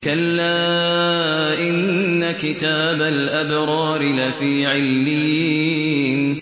كَلَّا إِنَّ كِتَابَ الْأَبْرَارِ لَفِي عِلِّيِّينَ